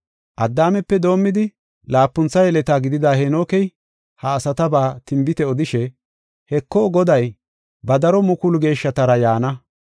Addaamepe doomidi, laapuntha yeleta gidida Heenokey, ha asataba tinbite odishe, “Heko, Goday, ba daro mukulu geeshshatara yaana.